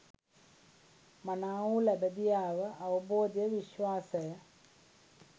මනාවූ ළබැඳියාව, අවබෝධය, විශ්වාසය